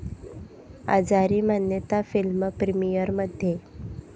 आजारी मान्यता फिल्म प्रिमिअरमध्ये!